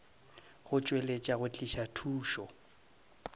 go tšweletša go tliša thušo